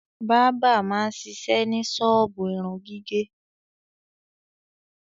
Bábà máa ń ṣiṣẹ́ ní ṣọ́ọ́bù irun gígẹ̀.